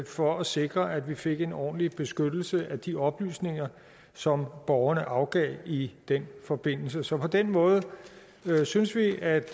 for at sikre at vi fik en ordentlig beskyttelse af de oplysninger som borgerne afgav i den forbindelse så på den måde synes vi at